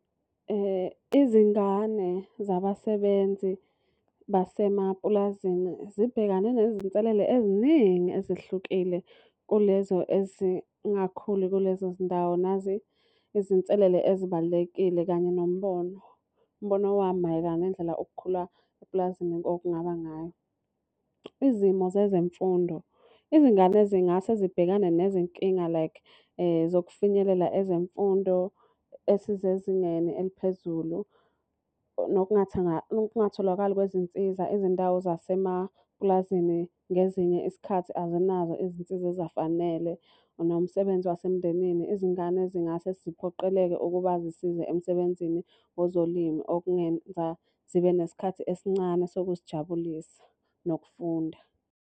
Izingane zabasebenzi basemapulazini zibhekane nezinselele eziningi ezehlukile kulezo ezingakhuli kulezo zindawo. Nazi izinselele ezibalulekile kanye nombono. Umbono wami mayelana nendlela okukhula epulazini okungaba ngayo. Izimo zezemfundo, izingane zingase zibhekane nezinkinga like zokufinyelela ezemfundo esizezingeni eliphezulu. Nokungatholakali kwezinsiza ezindawo zasemapulazini ngezinye isikhathi azinazo izinsiza ezafanele. Nomsebenzi wasemndenini, izingane zingase ziphoqeleke ukuba zisize emsebenzini wezolimo, okungenza zibe nesikhathi esincane sokuzijabulisa nokufunda.